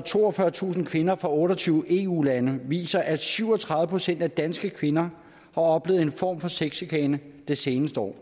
toogfyrretusind kvinder fra otte og tyve eu lande viser at syv og tredive procent af danske kvinder har oplevet en form for sexchikane det seneste år